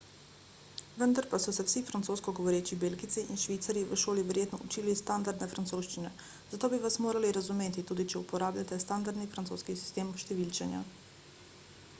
vendar pa so se vsi francosko govoreči belgijci in švicarji v šoli verjetno učili standardne francoščine zato bi vas morali razumeti tudi če uporabljate standardni francoski sistem številčenja